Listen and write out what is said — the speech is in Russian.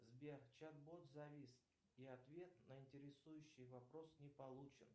сбер чат бот завис и ответ на интересующий вопрос не получен